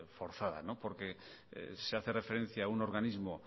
forzada porque se hace referencia a un organismo